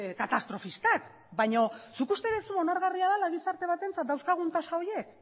katastrofistak baina zuk uste duzu onargarria dela gizarte batentzat dauzkagun tasa horiek